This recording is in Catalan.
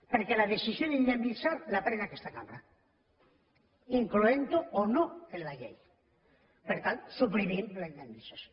perquè la decisió d’indemnitzar la pren aquesta cambra incloent ho o no en la llei per tant suprimim la indemnització